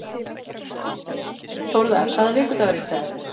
Þórða, hvaða vikudagur er í dag?